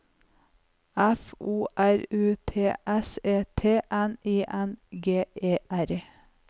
F O R U T S E T N I N G E R